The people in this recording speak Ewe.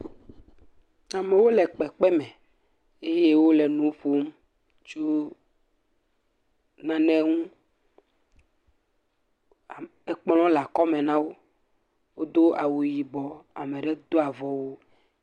Amewo le kpekpeme eye wole nu ƒom tso nane ŋu. Kplɔ̃ le akɔme na wo, wodo awu yibɔ, ame aɖewo dɔ avɔwu.